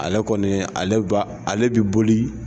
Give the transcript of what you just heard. Ale kɔni ale ba ale bɛ boli.